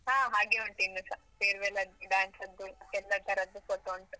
ಹಾ ಹಾಗೆ ಉಂಟು ಇನ್ನೂಸ, farewell ಅದ್ದು, dance ಅದ್ದು ಎಲ್ಲ ತರದ್ದು photo ಉಂಟು.